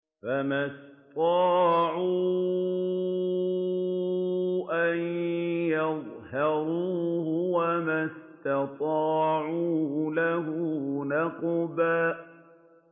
فَمَا اسْطَاعُوا أَن يَظْهَرُوهُ وَمَا اسْتَطَاعُوا لَهُ نَقْبًا